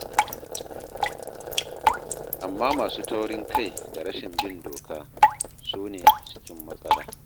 Amma masu taurin kai da rashin bin doka, su ne a cikin matsala.